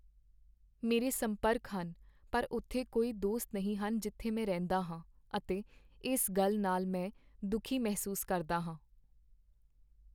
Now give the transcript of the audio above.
ਮੇਰੇ ਸੰਪਰਕ ਹਨ ਪਰ ਉੱਥੇ ਕੋਈ ਦੋਸਤ ਨਹੀਂ ਹਨ ਜਿੱਥੇ ਮੈਂ ਰਹਿੰਦਾ ਹਾਂ ਅਤੇ ਇਸ ਨਾਲ ਮੈਂ ਦੁਖੀ ਮਹਿਸੂਸ ਕਰਦਾ ਹਾਂ।